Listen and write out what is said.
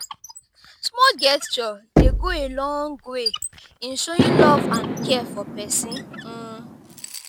small gesture dey go a long way in showing love and care for pesin. um